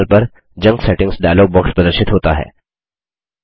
दायें पैनल पर junk settings dialog box प्रदर्शित होता है